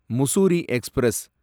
Mussoorie express